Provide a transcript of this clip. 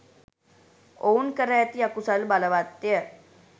ඔවුන් කර ඇති අකුසල් බලවත් ය.